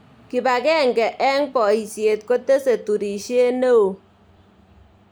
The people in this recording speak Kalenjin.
Kibakenge eng boisie kotesei turishe ne oo.